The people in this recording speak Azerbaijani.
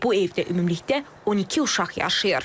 Bu evdə ümumilikdə 12 uşaq yaşayır.